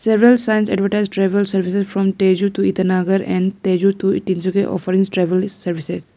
Several signs advertise travel services from Tezu to Itanagar and Tezu to Tinsukia offering travel services.